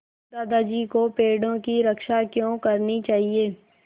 दादाजी को पेड़ों की रक्षा क्यों करनी चाहिए